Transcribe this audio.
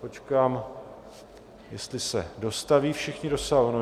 Počkám, jestli se dostaví všichni do sálu.